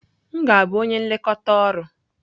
M ga-abụ onye nlekọta ọrụ.